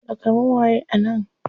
Takalmin waye a nan?